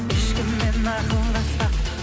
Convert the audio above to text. ешкіммен ақылдаспа